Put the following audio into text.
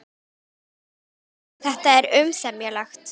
Kristján Már: Þannig að þetta er umsemjanlegt?